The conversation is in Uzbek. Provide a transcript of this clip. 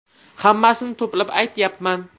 Hammasini to‘plab aytyapman.